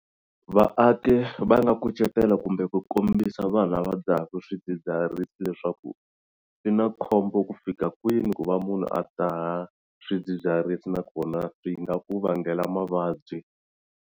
Vaaki va nga kucetela kumbe ku kombisa vanhu lava dzahaku swidzidziharisi leswaku swi na khombo ku fika kwini ku va munhu a dzaha swidzidziharisi nakona swi nga ku vangela mavabyi.